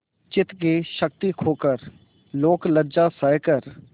चित्त की शक्ति खोकर लोकलज्जा सहकर